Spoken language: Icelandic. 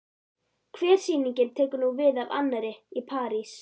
Hver sýningin tekur nú við af annarri- Í París